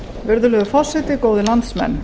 virðulegur forseti góðir landsmenn